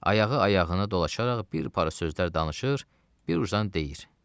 Ayağı ayağını dolaşaraq bir para sözlər danışır, bir uzdan deyir: